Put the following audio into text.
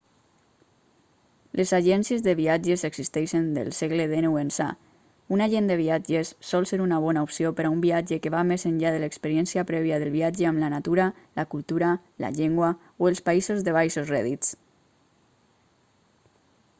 les agències de viatges existeixen del segle xix ençà un agent de viatges sol ser una bona opció per a un viatge que va més enllà de l'experiència prèvia del viatge amb la natura la cultura la llengua o els països de baixos rèdits